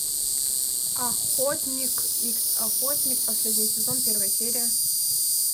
охотник икс охотник последний сезон первая серия